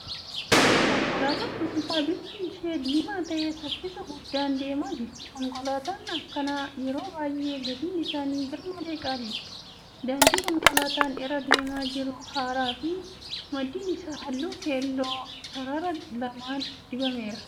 Konkolaataa dhuunfaa bifti ishee diimaa ta'e saffisa guddaan deemaa jirti. Konkolaataan akkanaa yeroo baay'ee gatiin isaanii garmalee qaaliidha. Daandii konkolaataan irra deemaa jiru haaraa fi maddiin isaa halluu keelloon sarara lamaan dibameera.